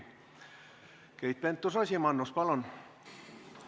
Keit Pentus-Rosimannus, palun!